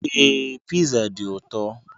Ee, Pizza dị ụtọ.